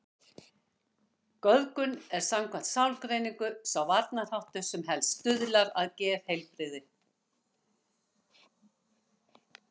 Göfgun er samkvæmt sálgreiningu sá varnarháttur sem helst stuðlar að geðheilbrigði.